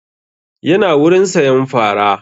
Ya na wurin sayan fara